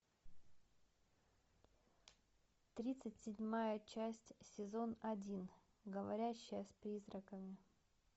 тридцать седьмая часть сезон один говорящая с призраками